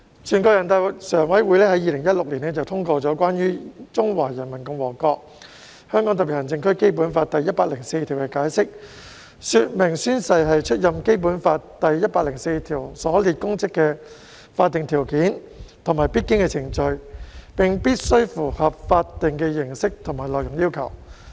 全國人民代表大會常務委員會在2016年通過《關於〈中華人民共和國香港特別行政區基本法〉第一百零四條的解釋》，說明宣誓是出任《基本法》第一百零四條所列公職的法定條件和必經程序，並必須符合法定的形式和內容要求。